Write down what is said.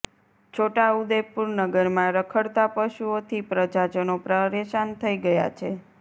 છોટાઉદેપુર નગરમાં રખડતા પશુઓથી પ્રજાજનો પરેશાન થઇ ગયા છે